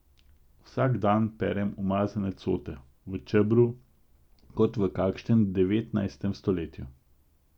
Vsak dan perem umazane cote, v čebru, kot v kakšnem devetnajstem stoletju.